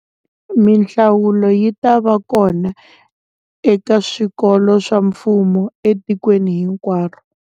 Mihlawulo yi ta va kona eka swikolo swa mfumo etikweni hinkwaro.